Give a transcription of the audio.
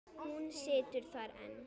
Hún situr þar enn.